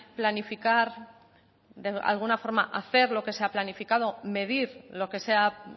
planificar de alguna forma hacer lo que se ha planificado medir lo que se ha